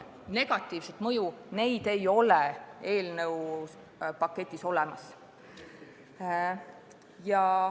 ... negatiivset mõju, ei ole eelnõuga ette nähtud.